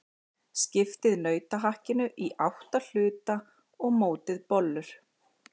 Skiptið nautahakkinu í átta hluta og mótið bollur.